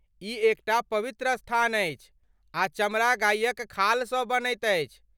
ई एक टा पवित्र स्थान अछि आ चमड़ा गायक खालसँ बनैत अछि।